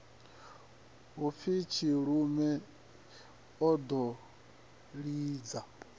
hupfi tshilume o ḓo lidza